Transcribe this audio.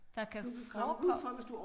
Der kan forekomme